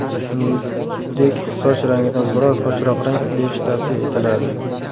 Shuningdek, soch rangidan biroz ochroq rang berish tavsiya etiladi.